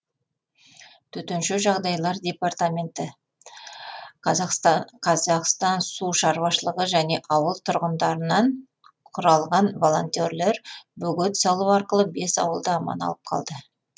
төтенше жағдайлар департаменті қазақстансушар және ауыл тұрғындарынан құралған волонтерлер бөгет салу арқылы бес ауылды аман алып қалды